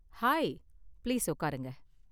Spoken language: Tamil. ஹாய், பிளீஸ் உக்காருங்க.